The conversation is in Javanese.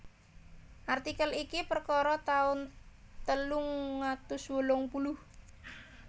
Artikel iki perkara taun telung atus wolung puluh